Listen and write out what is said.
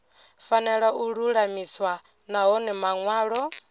fanela u lulamiswa nahone manwalo